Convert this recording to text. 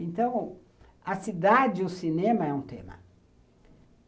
Então, a cidade e o cinema é um tema.